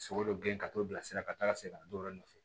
Sogo dɔ girin ka t'o bilasira ka taa ka segin ka na don o yɔrɔ nɔfɛ